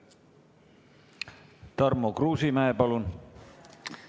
Tarmo Kruusimäe, palun!